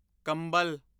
ਕੰਬਲ